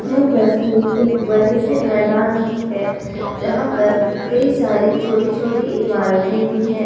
यह तस्वीर एक बड़े से मैदान की है जहां पर कई सारी छोटी-छोटी इमारतें भी है।